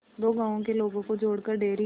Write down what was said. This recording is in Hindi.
दो गांवों के लोगों को जोड़कर डेयरी